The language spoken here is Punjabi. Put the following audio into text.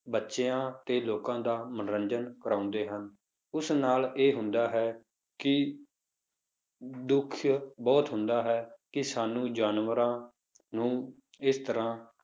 ਬੱਚਿਆਂ ਤੇ ਲੋਕਾਂ ਦਾ ਮਨੋਰੰਜਨ ਕਰਵਾਉਂਦੇ ਹਨ, ਉਸ ਨਾਲ ਇਹ ਹੁੰਦਾ ਹੈ ਕਿ ਦੁੱਖ ਬਹੁਤ ਹੁੰਦਾ ਹੈ ਕਿ ਸਾਨੂੰ ਜਾਨਵਰਾਂ ਨੂੰ ਇਸ ਤਰ੍ਹਾਂ